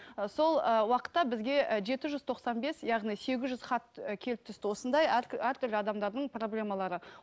ы сол ы уақытта бізге і жеті жүз тоқсан бес яғни сегіз жүз хат і келіп түсті осындай әртүрлі адамдардың проблемалары